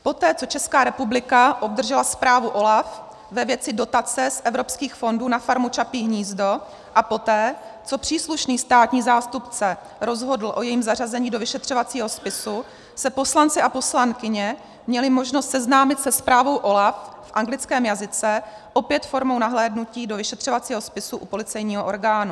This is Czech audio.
Poté co Česká republika obdržela zprávu OLAF ve věci dotace z evropských fondů na farmu Čapí hnízdo a poté co příslušný státní zástupce rozhodl a jejím zařazení do vyšetřovacího spisu, se poslanci a poslankyně měli možnost seznámit se zprávou OLAF v anglickém jazyce, opět formou nahlédnutí do vyšetřovacího spisu u policejního orgánu.